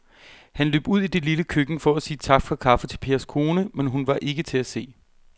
Han løb ud i det lille køkken for at sige tak for kaffe til Pers kone, men hun var ikke til at se.